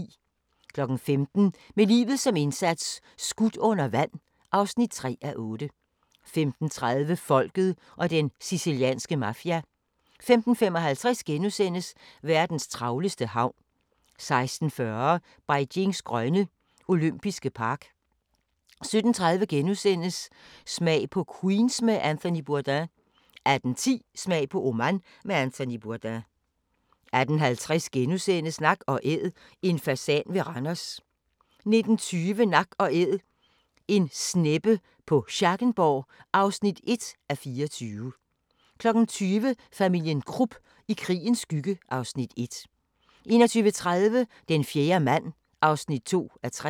15:00: Med livet som indsats - skudt under vand (3:8) 15:30: Folket og den sicilianske mafia 15:55: Verdens travleste havn * 16:40: Beijings grønne olympiske park 17:30: Smag på Queens med Anthony Bourdain * 18:10: Smag på Oman med Anthony Bourdain 18:50: Nak & Æd – en fasan ved Randers (8:24)* 19:20: Nak & Æd - en sneppe på Schackenborg (1:24) 20:00: Familien Krupp – i krigens skygge (Afs. 1) 21:30: Den fjerde mand (2:3)